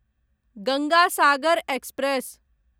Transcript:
Ganga Sagar express